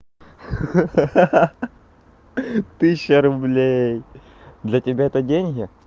ха-ха тысяча рублей для тебя это деньги